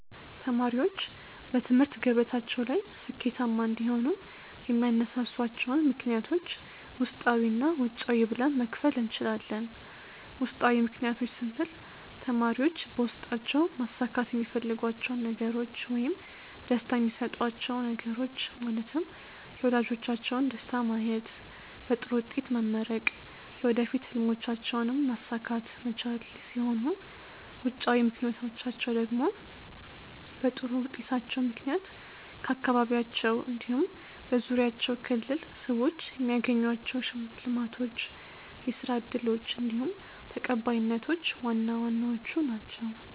ተማሪዎች በትምህርት ገበታቸው ላይ ስኬታማ እንዲሆኑ የሚያነሳሷቸውን ምክንያቶች ውስጣዊ እና ውጫዊ ብለን መክፈል እንችላለን። ውስጣዊ ምክንያቶች ስንል ተማሪዎች በውስጣቸው ማሳካት የሚፈልጓቸውን ነገሮች ውይም ደስታ የሚሰጧቹው ነገሮች ማለትም የወላጆቻቸውን ደስታ ማየት፣ በጥሩ ውጤት መመረቅ፣ የወደፊት ህልሞቻቸውንም ማሳካት መቻል ሲሆኑ ውጫዊ ምክንያቶቻቸው ደግሞ በጥሩ ውጤታቸው ምክንያት ከአካባቢያቸው እንዲሁም በዙሪያቸው ክልል ሰዎች የሚያገኟቸው ሽልማቶች፣ የስራ እድሎች እንዲሁም ተቀባይነቶች ዋና ዋናዎቹ ናችው።